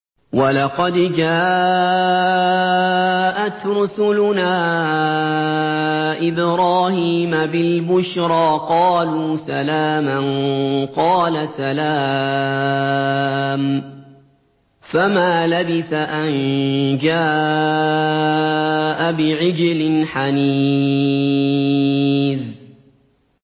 وَلَقَدْ جَاءَتْ رُسُلُنَا إِبْرَاهِيمَ بِالْبُشْرَىٰ قَالُوا سَلَامًا ۖ قَالَ سَلَامٌ ۖ فَمَا لَبِثَ أَن جَاءَ بِعِجْلٍ حَنِيذٍ